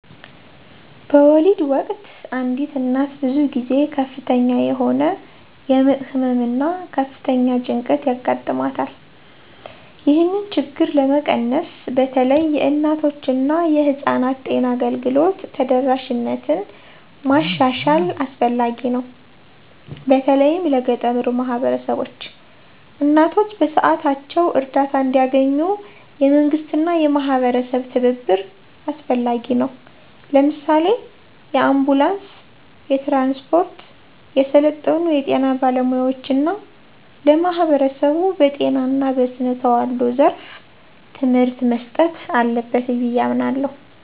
በወሊድ ወቅት አንዲት እናት ብዙ ጊዜ ከፍተኛ የሆነ የምጥ ህመም እና ከፍተኛ ጭንቀት ያጋጥማታል። ይህንን ችግር ለመቀነስ በተለይ የእናቶችና የህፃናት ጤና አገልግሎት ተደራሽነትን ማሻሻል አስፈላጊ ነው፤ በተለይም ለገጠሩ ማህበረሰቦች። እናቶች በሰዓታቸው እርዳታ እንዲያገኙ፣ የመንግስትና የማህበረሰብ ትብብር አስፈላጊ ነው። ለምሳሌ፣ የአንቡላንስ ትራንስፖርት፣ የሰለጠኑ የጤና ባለሙያዎች እና ለማህበረሰቡ በጤና እና በስነ ተዋልዶ ዘርፍ ትምህርት መስጠት አለበት ብዬ አምናለሁ።